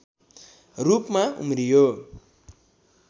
रूपमा उम्रियो